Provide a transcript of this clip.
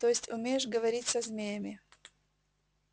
то есть умеешь говорить со змеями